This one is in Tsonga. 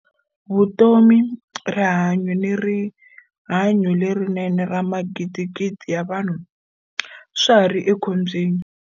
Vutomi, rihanyu ni riha nyu lerinene ra magidigidi ya vanhu swa ha ri ekhombyeni.